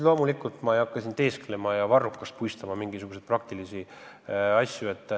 Loomulikult ma ei hakka siin varrukast puistama mingisuguseid praktilisi samme.